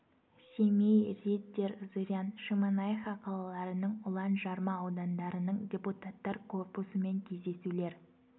семей риддер зырян шемонаиха қалаларының ұлан жарма аудандарының депутаттар корпусымен кездесулер